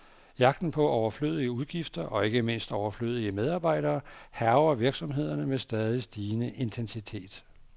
Jagten på overflødige udgifter, og ikke mindst overflødige medarbejdere, hærger virksomhederne med stadig stigende intensitet.